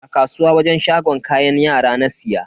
A kasuwa wajen shagon kayan yara na siya.